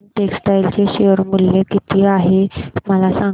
Arvind textile चे share मूल्य किती आहे मला सांगा